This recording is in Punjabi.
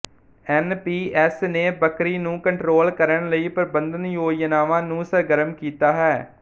ਐਨ ਪੀ ਐਸ ਨੇ ਬੱਕਰੀ ਨੂੰ ਕੰਟਰੋਲ ਕਰਨ ਲਈ ਪ੍ਰਬੰਧਨ ਯੋਜਨਾਵਾਂ ਨੂੰ ਸਰਗਰਮ ਕੀਤਾ ਹੈ